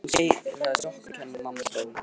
Hann segir að það sé okkur að kenna að mamma dó